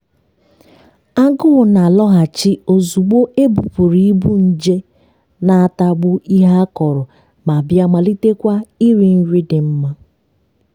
agụụ na-alọghachi ozugbo ebupụrụ ibu nje na-atagbu ihe a kọrọ ma bịa malitekwa iri nri dị mma.